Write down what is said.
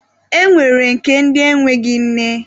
E nwere nke ndi enweghị nne.